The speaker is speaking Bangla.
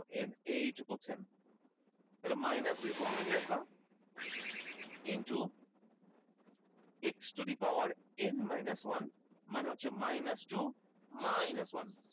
বলছেন তাহলে minus দুই প্রথমে নিয়ে আসবা কিন্তু x to the power n minus one মানে হচ্ছে minus two minus one